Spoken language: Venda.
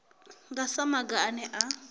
nga sa maga ane a